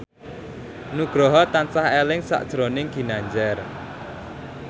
Nugroho tansah eling sakjroning Ginanjar